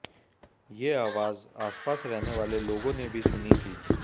ये आवाज आसपास रहने वाले लोगों ने भी सुनी थी